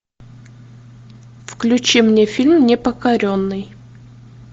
включи мне фильм непокоренный